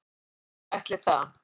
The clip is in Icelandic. Nei, ætli það